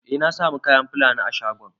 Eh na samu kayan Fulani a shagon.